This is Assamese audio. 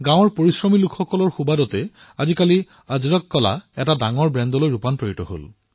গাঁৱৰ পৰিশ্ৰমী লোকৰ বাবে আজি আজৰক প্ৰিণ্ট এক ব্ৰেণ্ডলৈ ৰূপান্তৰিত হৈছে